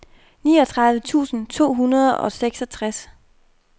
niogtredive tusind to hundrede og seksogtres